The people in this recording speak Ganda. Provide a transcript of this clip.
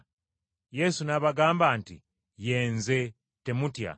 Yesu n’abagamba nti, “Ye Nze, temutya!”